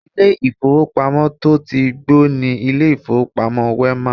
Ilé ìfowópamọ́ to tí gbó ni ilé ìfowópamọ́ Wema.